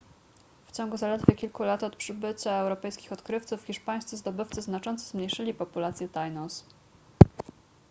w ciągu zaledwie kilku lat od przybycia europejskich odkrywców hiszpańscy zdobywcy znacząco zmniejszyli populację tainos